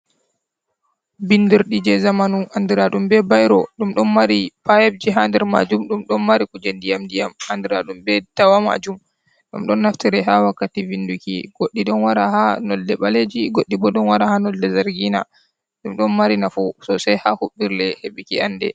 Bindirɗi je zamanu andiraɗum be bairo. ɗum do mari pipeji ha nder majum, ɗum ɗo mari kuje ndiyam-ndiyam andira ɗum be dawa majum. Ɗum do naftire ha wakkati vinduki. Goɗɗi do wara ha nolde baleji, goddi bo ɗo wara ha nolde zargina. Ɗum do mari nafu sosei ha huɓirle heɓɓiki ande.